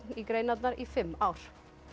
í greinarnar í fimm ár